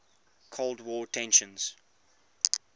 cold war tensions